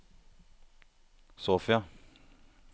Sofia